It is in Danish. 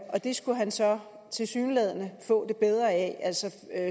og det skulle han så tilsyneladende få det bedre af altså